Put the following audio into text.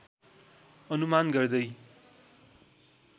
अनुमान गर्दै